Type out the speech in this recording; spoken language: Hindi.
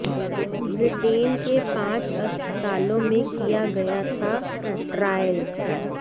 ब्रिटेन के पांच अस्पतालों में किया गया था ट्रायल